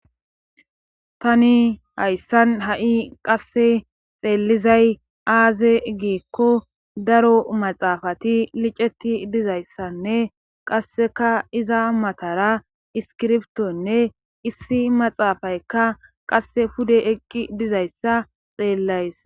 Tani hayssan ha7i qasse xeellizay aaze giikko daro maxaafati liceti dizayssanne qasseka iza matara iskirbtonne issi maxaafayka qasse pude eqqi dizayssa xeellays.